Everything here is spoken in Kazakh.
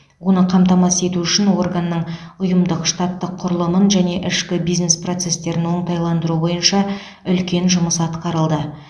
оны қамтамасыз ету үшін органның ұйымдық штаттық құрылымын және ішкі бизнес процестерін оңтайландыру бойынша үлкен жұмыс атқарылды